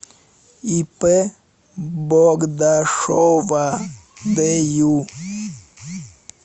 ип богдашова дю